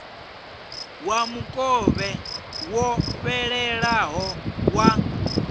wa mukovhe wo fhelelaho wa